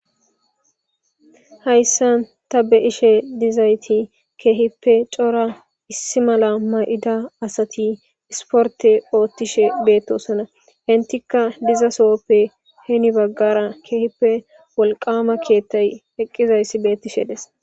hayssa ta be ishe dizayti keehippe cora issi mala ma7ida asati isporte oottishe beettosona hentikka dizasohppe heni baggara keehippe wolqama keettay eqqizayssi beettishe des